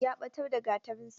Ya ɓatar da Gatarinsa.